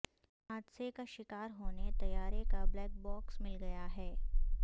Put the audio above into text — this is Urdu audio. حادثے کا شکار ہونے طیارے کا بلیک باکس مل گیا ہے